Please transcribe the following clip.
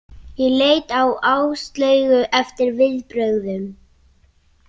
Ég leit á Áslaugu eftir viðbrögðum.